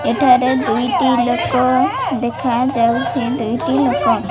ଏଠାରେ ଦୁଇଟି ଲୋକ ଦେଖାଯାଉଛି। ଦୁଇଟି ଲୋକ --